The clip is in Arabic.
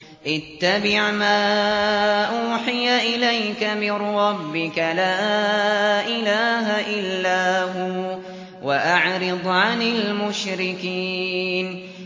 اتَّبِعْ مَا أُوحِيَ إِلَيْكَ مِن رَّبِّكَ ۖ لَا إِلَٰهَ إِلَّا هُوَ ۖ وَأَعْرِضْ عَنِ الْمُشْرِكِينَ